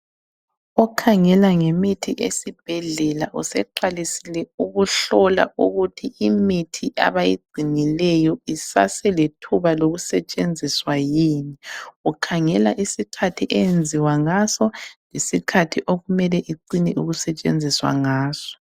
Okhangela ngemithi yesibhedlela useqalisile ukuhlola ukuthi imithi abayigcinileyo isaselethuba lokusetshenziswa yini? Ukhangela isikhathi eyenziwa ngaso, isikhathi okumele icine ukusetshenziswa ngaso.